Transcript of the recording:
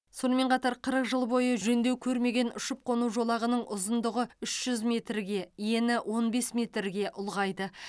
сонымен қатар қырық жыл бойы жөндеу көрмеген ұшып қону жолағының ұзындығы үш жүз метрге ені он бес метрге ұлғайды